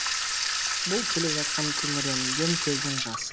бұл келе жатқан күңіренген көздің жасы